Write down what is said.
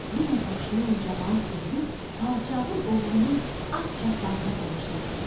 Yenə qoşun, camaat düzülüb padşahın oğlunun at çapmağına tamaşa eləyirdilər.